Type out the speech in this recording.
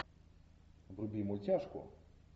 вруби мультяшку